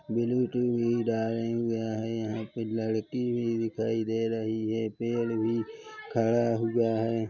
Bluetooth भी डाले हुए है यहाँ पर लड़की भी दिखाई दे रही है पेड़ भी खड़ा हुआ है।